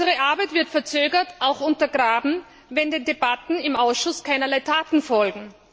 Unsere Arbeit wird verzögert, auch untergraben, wenn den Debatten im Ausschuss keinerlei Taten folgen.